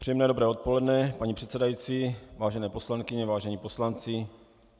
Příjemné dobré odpoledne, paní předsedající, vážené poslankyně, vážení poslanci.